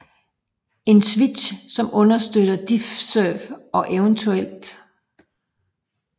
En switch som understøtter DiffServ og evt